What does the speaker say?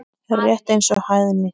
Rétt eins og hæðni.